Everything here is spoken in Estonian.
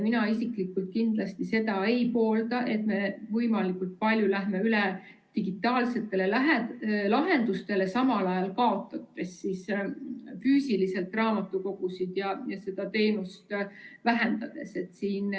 Mina isiklikult kindlasti ei poolda, et me võimalikult palju läheme üle digitaalsetele lahendustele, samal ajal raamatukogusid füüsiliselt kaotades ja raamatukogu teenust vähendades.